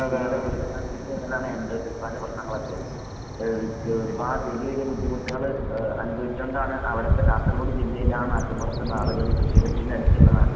എൻഡോസൾഫാന്റെ പ്രശ്നങ്ങളൊക്കെ. ഏഹ് വ് ഏഹ് ഒരുപാട് വലിയ വലിയ ബുദ്ധിമുട്ടുകള് ഏഹ് അനുഭവിച്ചോണ്ടാണ് അവടത്തെ കാസർഗോഡ് ജില്ലയിലെ ആ നാട്ട്മ്പൊറത്ത്ള്ള ആളുകള് കൃഷിയിടത്തിന്റടുത്ത്ള്ള നാട്ട്